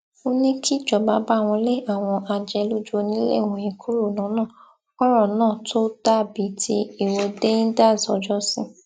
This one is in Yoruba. ó ní kíjọba báwọn lé àwọn ajẹlójúọnilẹ wọnyí kúrò lọnà kọrọ náà tóó dà bíi ti ìwọde endsars ọjọsí